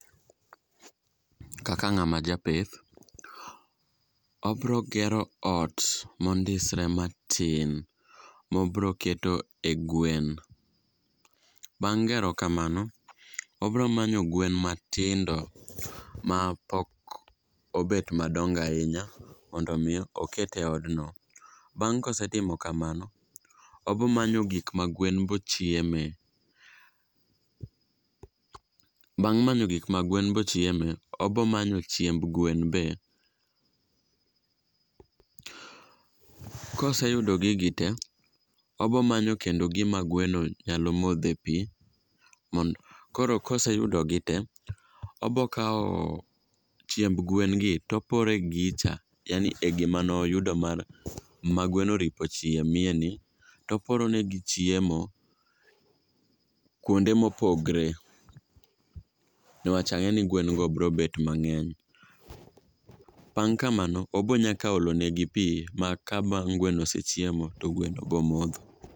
Kaka ng'ama japith, obrogero ot mondisre matin mobroketo e gwen bang' gero kamano, obromanyo gwen matindo mapok obet madongo ahinya mondo omi oket e odno. Bang' kosetimo kamano, obomanyo gik ma gwen bochieme, bang' manyo gik ma gwen bochieme, obo manyo chiemb gwen be. Koseyudo gigi te, obo manyo kendo gima gweno nyalo modhe pi koro koseyudogi te, obokawo chiemb gwengi toporo e gicha, yani gima noyudo ma gweno oripo chiemyeni toporonegi chiemo kuonde mopogre nwach ang'e ni gwengo brobet mang'eny. Bang' kamano obonyaka olonegi pi ma ka bang' gweno osechiemo to gweno bomodho.